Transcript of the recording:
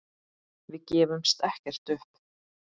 Við gefumst ekkert upp.